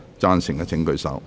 贊成的請舉手。